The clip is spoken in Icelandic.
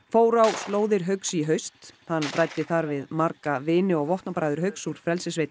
fór á slóðir Hauks í haust hann ræddi þar við marga vini og vopnabræður Hauks úr